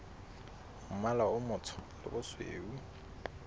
mmala o motsho le bosweu